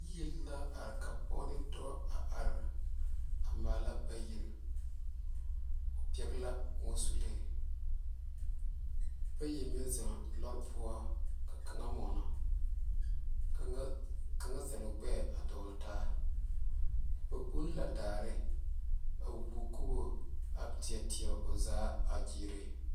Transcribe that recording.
Yiri la are ka pɔge ne dɔɔ are mala ba yiri pɛle la kõɔsulee ka bayi meŋ zeŋe lɔɔre poɔ ka kaŋe mɔno ka kaŋa zeɛle o gbɛ duole taa ba kpɔŋɔ la daare a woeiŋ kubɔ a teɛteɛ o zaa a gyire.